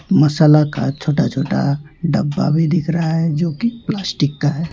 मसाला का छोटा छोटा डब्बा भी दिख रहा है जो की प्लास्टिक का है।